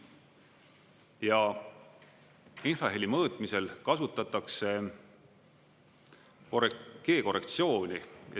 Ja infraheli mõõtmisel kasutatakse G-korrektsiooni.